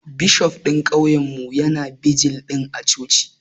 Bishof ɗin kauyen mu ya na bijil a coci